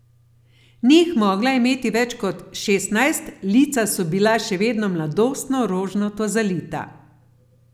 Ni jih mogla imeti več kot šestnajst, lica so bila še vedno mladostno rožnato zalita.